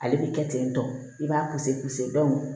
Ale bi kɛ ten tɔ i b'a